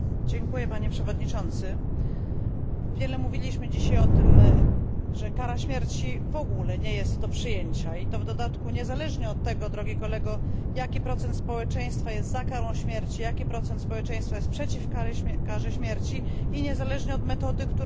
Wiele mówiliśmy dzisiaj o tym, że kara śmierci w ogóle jest nie do przyjęcia, i to w dodatku niezależnie od tego, drogi Kolego, jaki procent społeczeństwa jest za karą śmierci, jaki procent społeczeństwa jest przeciw karze śmierci, i niezależnie od metody, którą się stosuje przy zabijaniu drugiego człowieka.